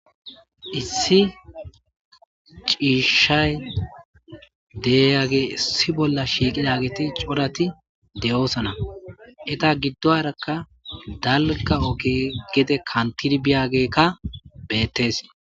Issi ciishshay deyage issi bolla shiiqidagiti corati de'oosana eta giddo harakka dalga oke gede kantirbiyagekka beettes.